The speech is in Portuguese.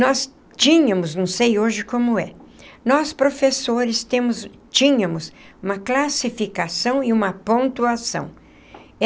Nós tínhamos, não sei hoje como é, nós professores temos tínhamos uma classificação e uma pontuação.